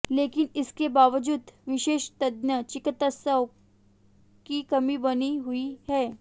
लेकिन इसके बावजूद विशेषज्ञ चिकित्सकों की कमी बनी हुई है